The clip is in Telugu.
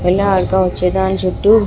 వెళ్లి ఆడుకోవచ్చు దాని చుట్టు --